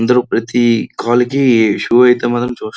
ఇందులో ప్రతి quality shoe అయితే మాత్రం చూస్తూ --